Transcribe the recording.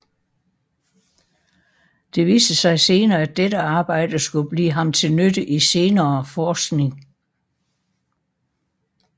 Det viste sig senere at dette arbejde skulle blive ham til nytte i senere forskning